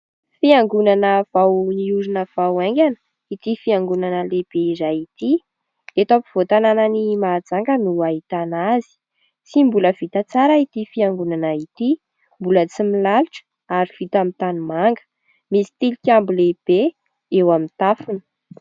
Fiangonana vao niorina vao haingana ity fiangonana lehibe iray ity. Eto ampovoan-tanànan'i Mahajanga no ahitana azy. Tsy mbola vita tsara ity fiangonana ity, mbola tsy milalotra ary vita amin'ny tanimanga. Misy tilikambo lehibe eo amin'ny tafony.